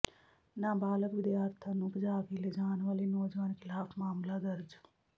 ਨਾਬਾਲਗ਼ ਵਿਦਿਆਰਥਣ ਨੰੂ ਭਜਾ ਕੇ ਲਿਜਾਣ ਵਾਲੇ ਨੌਜਵਾਨ ਖਿਲਾਫ਼ ਮਾਮਲਾ ਦਰਜ